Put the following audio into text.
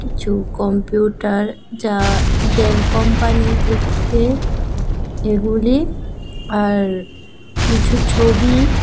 ছু কম্পিউটার যা Dell company থেকে এগুলি আর কিছু ছবি--